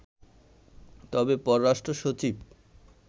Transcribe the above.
তবে পররাষ্ট্র সচিব